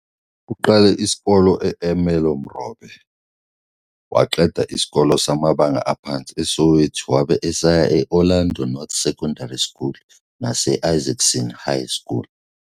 Uqale isikole e-Ermelo Morobe, waqeda isikole samabanga aphansi eSoweto wabe eseya e-Orlando North Secondary School nase-Isaacson High School.